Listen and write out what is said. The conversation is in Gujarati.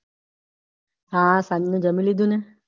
હા સાંજનું જામી લીધું ને.